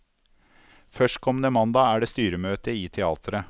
Førstkommende mandag er det styremøte i teatret.